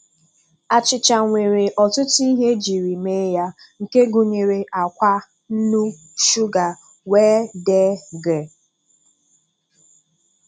Achịcha nwere ọtụtụ ihe ejiri mee ya nke gụnyere ákwá, nnu, shuga wdg.